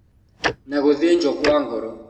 Na gũthĩnjwo kwa ngoro